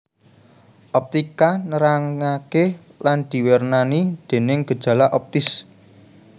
Optika nerangaké lan diwernani déning gejala optis